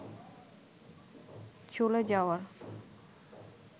চলে যাওয়ার